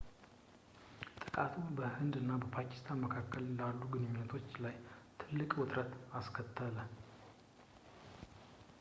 ጥቃቱ በህንድ እና ፓኪስታን መካከል ያሉ ግንኙነቶች ላይ ትልቅ ውጥረት አስከተለ